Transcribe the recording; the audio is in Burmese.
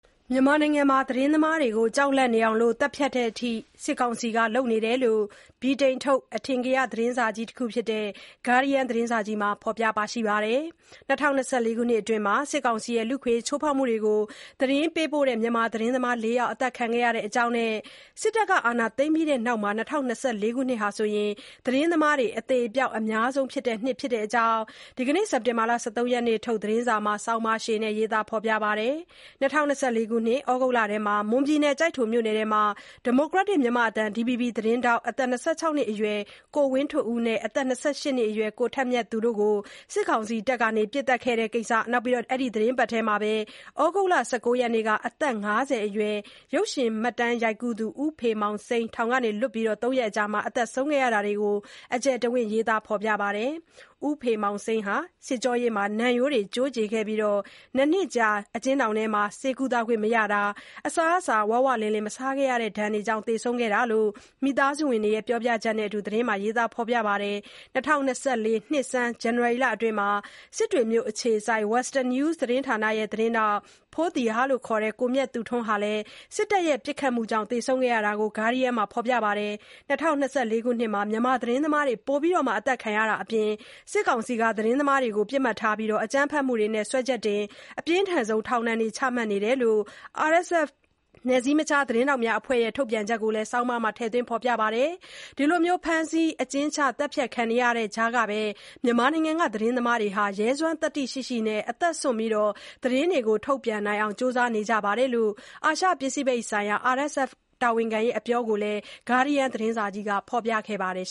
မြန်မာနိုင်ငံမှာ သတင်းသမားတွေကို ကြောက်လန့်နေအောင် သတ်ဖြတ်တဲ့အထိ စစ်ကောင်စီက လုပ်နေတယ်လို့ ဗြိတိန်ထုတ် အထင်ကရသတင်းစာကြီးတခုဖြစ်တဲ့ Guardian သတင်းစာကြီးမှာ ဖော်ပြလိုက်ပါတယ်။ ၂၀၂၄ ခုနှစ်အတွင်း စစ်ကောင်စီရဲ့ လူ့အခွင့်အရေး ချိုးဖေါက်မှုတွေကို သတင်းပေးပို့တဲ့ သတင်းသမား ၄ ယောက် အသတ်ခံခဲ့ရတဲ့အကြောင်းနဲ့ စစ်တပ်အာဏာသိမ်းပြီးနောက်ပိုင်း ၂၀၂၄ ခုနှစ်ဟာ သတင်းသမားတွေ အသေအပျောက် အများဆုံး နှစ်ဖြစ်ကြောင်း စက်တင်တာ ၁၃ ရက်ထုတ် သတင်းစာမှာ ဆောင်းပါးရှည်နဲ့ ရေးသားဖော်ပြခဲ့တာပါ။ ၂၀၂၄ ခုနှစ် ဩဂုတ်လအတွင်း မွန်ပြည်နယ် ကျိုက်ထိုမြို့နယ်ထဲမှာ ဒီမိုကရက်တစ် မြန်မာ့အသံ DVB သတင်းထောက် အသက် ၂၆ နှစ်အရွယ် ကိုဝင်းထွဋ်ဦးနဲ့ အသက် ၂၈ နှစ်အရွယ် ကိုထက်မြတ်သူတို့ကို စစ်တပ်က ပစ်သတ်ခဲ့တဲ့ကိစ္စ၊ အဲဒီသီတင်းပတ်ထဲမှာပဲ ဩဂုတ်လ ၁၉ ရက်နေ့က အသက် ၅၀ အရွယ် ရုပ်ရှင်မှတ်တမ်း ရိုက်ကူးသူ ဦးဖေမောင်စိမ်း ထောင်ကလွတ်ပြီး ၃ ရက်အကြာ သေဆုံးခဲ့တာတွေကို အကျယ်တဝင့် ရေးသားထားပါတယ်။ ဦးဖေမောင်စိမ်းဟာ စစ်ကြောရေးမှာ နံရိုးတွေ ကျိုးကြေခဲ့ပြီး အကျဉ်းထောင်ထဲမှာ ၂ နှစ်ကြာ ဆေးကုသခွင့် မရခဲ့တာ၊ အစားအစာ ဝဝလင်လင် မစားခဲ့ရတဲ့ဒဏ်တွေကြောင့် သေဆုံးခဲ့တာလို့ မိသားစုဝင်တွေရဲ့ ပြောပြချက်တွေနဲ့အတူ သတင်းမှာ ရေးသားထားပါတယ်။ ၂၀၂၄ နှစ်ဆန်း ဇန်နဝါရီလအတွင်းကလည်း စစ်တွေမြို့ အခြေစိုက် Western News သတင်းဌာနရဲ့ သတင်းထောက် ဖိုးသီဟ (ခေါ်) ကိုမြတ်သူထွန်းလည်း စစ်တပ်ရဲ့ ပစ်ခတ်မှုကြောင့် သေဆုံးခဲ့တာကို Guardian သတင်းစာကြီးရဲ့ ဆောင်းပါးမှာ ဖော်ပြပါတယ်။ ၂၀၂၄ ခုနှစ် မြန်မာ သတင်းသမားတွေ ပိုပြီး အသတ်ခံရတာအပြင် စစ်ကောင်စီက သတင်းသမားတွေကို ပစ်မှတ်ထားပြီး အကြမ်းဖက်မှုတွေနဲ့ စွဲချက်တင်၊ အပြင်းထန်ဆုံး ထောင်ဒဏ်တွေ ချမှတ်ခံနေရတယ်လို့ RSF နယ်စည်းမခြား သတင်းထောက်များအဖွဲ့ရဲ့ ထုတ်ပြန်ချက်ကိုလည်း ဆောင်းပါးမှာ ထည့်သွင်းထားပါတယ်။ အခုလို သတင်းထောက်တွေ ဖမ်းဆီး အကျဉ်းချ သတ်ဖြတ်ခံနေရတဲ့ကြားမှာ မြန်မာနိုင်ငံက သတင်းသမားတွေဟာ ရဲစွမ်းသတ္တိရှိရှိနဲ့ အသက်စွန့်ပြီး သတင်းတွေကို ထုတ်ပြန်နိုင်ဖို့ ကြိုးစားနေကြတယ်လို့ အာရှ ပိစိဖိတ်ဆိုင်ရာ RSF တာဝန်ခံရဲ့ အပြောကို Guardian သတင်းစာကြီးရဲ့ ဆောင်းပါးမှာ ကိုးကားဖော်ပြခဲ့ပါတယ်